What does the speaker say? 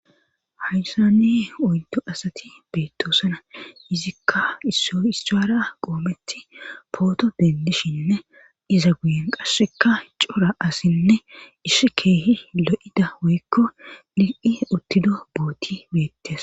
Hayssani oydo asati beettoosana izikka issoy issaara qoometi pooto dendishinne iza guyen qasseka cora assinne ishi keehi lo'ida woykko lil'i uttido booti beettes.